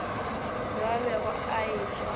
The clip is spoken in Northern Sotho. yo a bego a etšwa